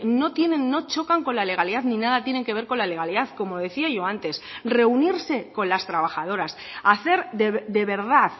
no tienen no chocan con la legalidad ni nada tienen que ver con la legalidad como decía yo antes reunirse con las trabajadoras hacer de verdad